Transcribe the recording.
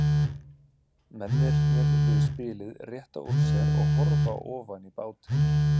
Mennirnir við spilið rétta úr sér og horfa ofan í bátinn.